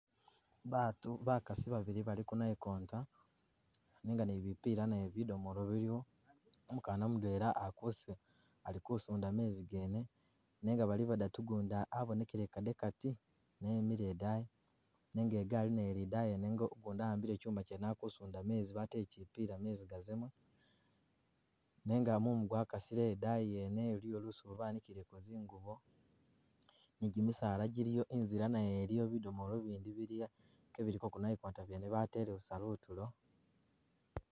Baatu bakasi babili bali kunayikonta nenga naye bipila naye bidomolo biliwo, umukana mudwela alikusunda meezi gene nenga bali badatu gundi abonekele kadekati naye emile idayi nenga igaali naye ili idayi wene ugundi awambile chuuma chene alikussunda meezi bateele chipila meezi gazemo nenga mumugwakasile idayi wene iliyo lusuubo bankileko zingubo ni gimisaala giliyo inzila naye iliyo bidomolo bindi biliyo kebiliko kunayikona kwene batele busa kutulo